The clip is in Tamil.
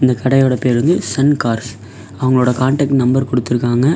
இந்த கடையோட பேரு வந்து சன் கார்ஸ் அவங்களோட காண்டாக்ட் நம்பர் குடுத்துருக்காங்க.